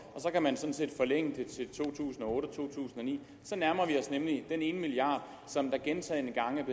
så kan man sådan set forlænge det til to tusind og otte og to tusind og ni så nærmer vi os nemlig den ene milliard som der gentagne gange